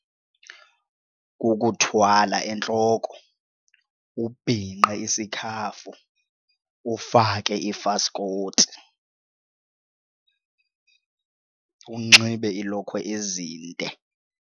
Kukuthwala entloko ubhinqe isikhafu ufake ifaskoti unxibe iilokhwe ezinde.